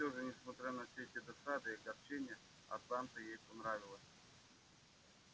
и всё же несмотря на все эти досады и огорчения атланта ей понравилась